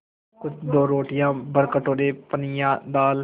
कुल दो रोटियाँ भरकटोरा पनियाई दाल